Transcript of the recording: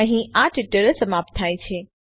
અહીં આ ટ્યુટોરીયલ સમાપ્ત થાય છે